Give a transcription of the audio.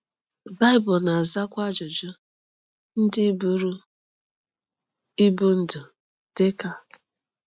BAỊBỤL na-azakwa ajụjụ ndị buru ibu NDỤ, DỊ KA: